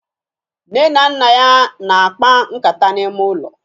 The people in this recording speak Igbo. Nne na nna ya na-akpa nkata n'ime ụlọ